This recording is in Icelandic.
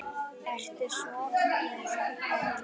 Ertu sofnuð, Erla?